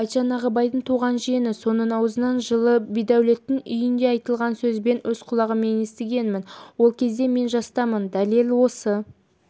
айтжан ағыбайдың туған жиені соның аузынан жылы бидәулеттің үйінде айтылған сөз мен өз құлағыммен естігенмін ол кезде мен жастамын дәлел осы